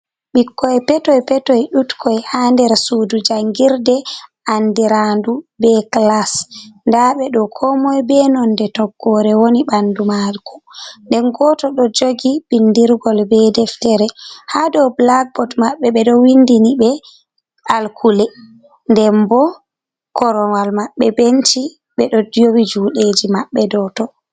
Ɓikkoi petoi petoi ɗutkoi ha nder sudu jangirde andirandu be clas ndaɓe fo ko moyi be nonde toggore woni ha bandu mako nden goto fo jogi bindirgol ɓe deftere, ha dow blackboot maɓɓe ɓeɗ windini ɓe alkule, den bo korowal maɓɓe benci ɓeɗo yewi juɗeji maɓɓe dow ton.